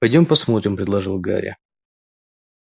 пойдём посмотрим предложил гарри